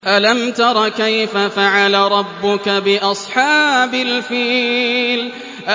أَلَمْ تَرَ كَيْفَ فَعَلَ رَبُّكَ بِأَصْحَابِ الْفِيلِ